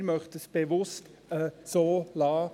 Wir möchten es bewusst so belassen.